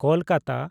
Kolkata